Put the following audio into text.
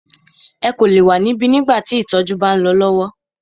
Ẹ kò lè wa níbí nígbà tí ìtọjú bá ń lọ lọwọ!